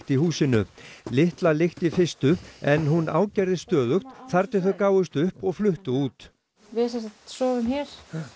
í húsinu lítilli í fyrstu en hún ágerðist stöðugt þar til þau gáfust upp og fluttu út við sem sagt sofum hér